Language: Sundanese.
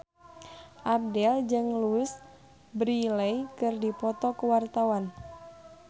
Abdel jeung Louise Brealey keur dipoto ku wartawan